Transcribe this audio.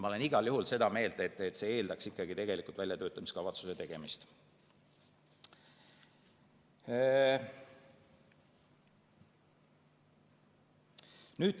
Ma olen igal juhul seda meelt, et see eeldaks ikkagi väljatöötamiskavatsuse tegemist.